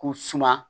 K'u suma